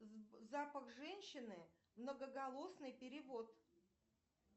запах женщины многоголосный перевод